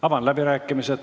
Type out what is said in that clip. Avan läbirääkimised.